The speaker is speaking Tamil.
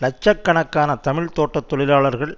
இலட்ச கணக்கான தமிழ் தோட்ட தொழிலாளர்கள்